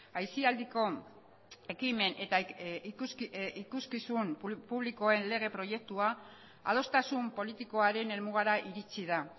aisialdiko ekimen eta ikuskizun publikoen lege proiektua adostasun politikoaren helmugara iritsi da